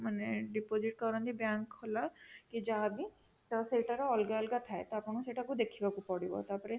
ମାନେ deposit କରନ୍ତି Bank ଖୋଲା କି ଯାହା ବି ସେଇଟାର ଅଲଗା ଅଲଗା ଥାଏ ତ ଆପଣଙ୍କୁ ସେଇଟାକୁ ଦେଖିବାକୁ ପଡିବ ତାପରେ